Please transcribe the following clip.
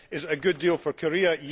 Is it a good deal for Korea?